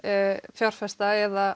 fjárfesta eða